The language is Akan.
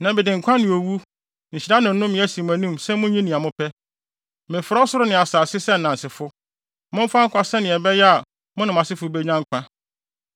Nnɛ mede nkwa ne owu, nhyira ne nnome, asi mo anim sɛ munyi nea mopɛ. Mefrɛ ɔsoro ne asase sɛ nnansefo. Momfa nkwa sɛnea ɛbɛyɛ a mo ne mo asefo benya nkwa!